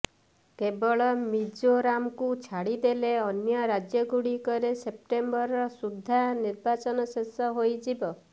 କେବଳ ମିଜୋରାମକୁ ଛାଡ଼ିଦେଲେ ଅନ୍ୟ ରାଜ୍ୟଗୁଡିକରେ ସେପ୍ଟେମ୍ବର ସୁଦ୍ଧା ନିର୍ବାଚନ ଶେଷ ହୋଇଯିବ